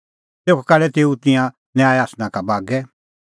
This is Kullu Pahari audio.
तेखअ काढै तेऊ तिंयां न्याय आसना का बागै